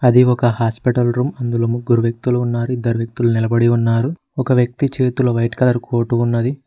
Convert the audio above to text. అది ఒక hospital room అందులో ముగ్గురు వ్యక్తులు ఉన్నారు ఇద్దరు వ్యక్తులు నిలబడి ఉన్నారు ఒక వ్యక్తి చేతులు వైట్ కలర్ కోర్టు ఉన్నది.